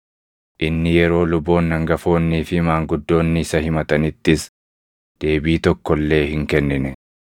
Inni yeroo luboonni hangafoonnii fi maanguddoonni isa himatanittis deebii tokko illee hin kennine.